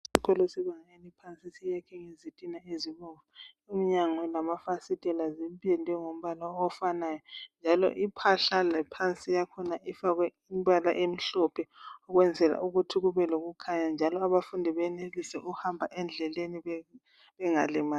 Isikolo sebanga eliphansi sakhiwe ngezitina ezibomvu iminyango lamafasithela zipendwe ngombala ofanayo njalo iphahla lephansi yakhona ifakwe imbala emhlophe ukwenzela ukuthi kube lokukhanya njalo abafundi benelise ukuhamba endleleni bengalimali .